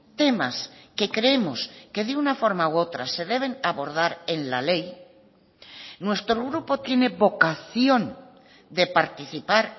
temas que creemos que de una forma u otra se deben abordar en la ley nuestro grupo tiene vocación de participar